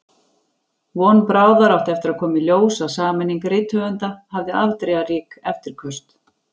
Von bráðar átti eftir að koma í ljós að sameining rithöfunda hafði afdrifarík eftirköst.